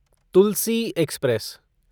Tulsi express